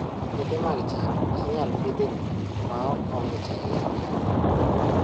Puothe mag cham inyalo Pidho e lowo ma ok ong'ich ahinya